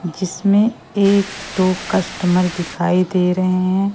जिसमें एक दो कस्टमर दिखाई दे रहे हैं।